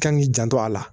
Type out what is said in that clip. Kan k'i janto a la